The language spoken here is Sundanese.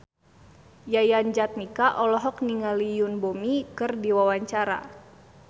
Yayan Jatnika olohok ningali Yoon Bomi keur diwawancara